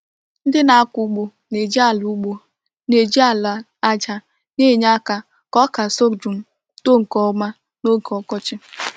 Ndị na-akọ ugbo na-eji ala ugbo na-eji ala aja na-enye aka ka ọka sorghum too nke ọma n’oge ọkọchị.